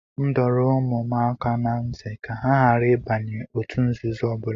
M dọrọ ụmụ m aka ná ntị ka ha ghara ịbanye òtù nzuzo ọbụla